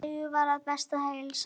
Segist vera við bestu heilsu.